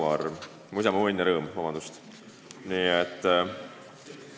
Vabandust, "Mu isamaa, mu õnn ja rõõm"!